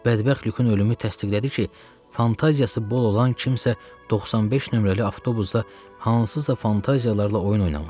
Bədbəxt Lyukun ölümü təsdiqlədi ki, fantaziyası bol olan kimsə 95 nömrəli avtobusda hansısa fantaziyalarla oyun oynamış.